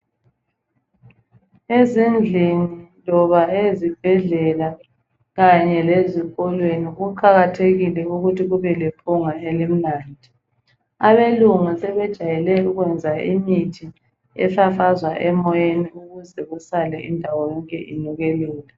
Ezindlini loba ezibhedlela, kanye lezikolweni kuqakathekile ukuthi kube lephunga elimnandi. Abelungu sebejwayele ukwenza imithi efafazwa emoyeni ukuze kusale indawo yonke inukelela